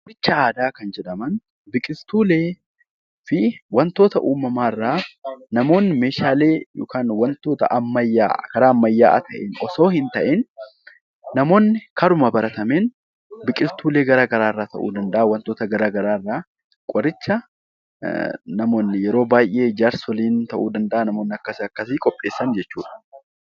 Qoricha aadaa kan jedhaman biqiltuulee waantota uumama irraa namoonni Meeshaalee ammayyaa yookaan karaa ammayyaa ta'een osoo hin ta'iin namoonni karuma baratameen namoonni biqiltuulee waantota garaagaraa irraa namoonni yeroo baayyee jaarsoliin ta'uu danda'a, namoonni qopheessan jechuudha.